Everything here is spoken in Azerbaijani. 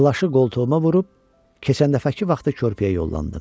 Plaşı qoltuğuma vurub keçən dəfəki vaxtı körpəyə yollandım.